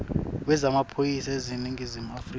wemaphoyisa eningizimu afrika